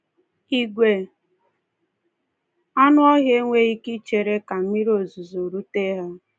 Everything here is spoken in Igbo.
Igwe anụ ọhịa enweghị ike ichere ka mmiri ozuzo rute ha.